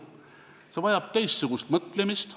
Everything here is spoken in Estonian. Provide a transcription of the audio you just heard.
See vajab teistsugust mõtlemist.